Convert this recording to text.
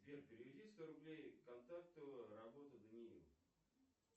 сбер переведи сто рублей контакту работа даниил